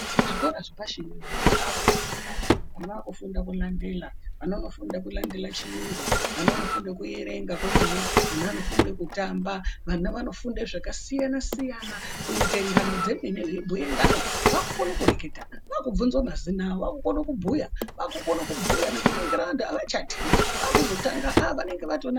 Zvikora zvepashi vana vakufunda. Vana vaakufunda kulandela. Vana vanofunda kulandela chiyungu. Vana vanofunda kuerenga komene. Ana anofunde kutamba. Vana vanofunde zvakasiyana-siyana kuite ngano dzemene, veibhuye ngano. Vaakukone kureketa, vaakubvunzwa mazina avo vakukono kubhuya. Vaakukono kubhuya nekuningira vantu avachatyi, vakuzotanga ah vanenge vatona...